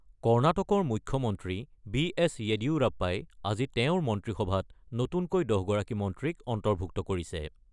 কৰ্ণাটকৰ মুখ্যমন্ত্ৰী B S য়েডিয়ুৰাপ্পাই আজি তেওঁৰ মন্ত্ৰীসভাত নতুনকৈ ১০গৰাকী মন্ত্ৰীক অন্তৰ্ভুক্ত কৰিছে।